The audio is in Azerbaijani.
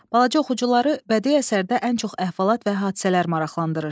Balaca oxucuları bədii əsərdə ən çox əhvalat və hadisələr maraqlandırır.